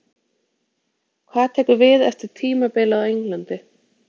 Hvað tekur við eftir tímabilið á Englandi?